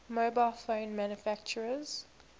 mobile phone manufacturers